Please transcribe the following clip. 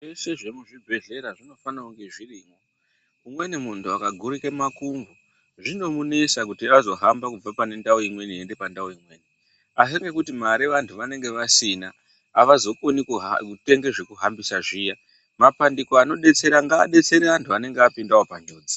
Zveshe zvemuzvibhedhlera zvinofanira kunge zviripo umweni munthu akagurika makumbo zvinomunesa kuti azohama kubva pane ndau imweni eienda pandau imweni asi ngekuti mare vanthu vanenge vasina avazokoni kutenga zvekuhambisa zviya mabandiko anodetsera ngaadetsere vanthu vanenge vapindawo panjodzi.